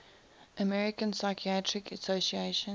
american psychiatric association